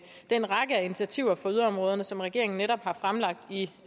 den række af initiativer for yderområderne som regeringen netop har fremlagt i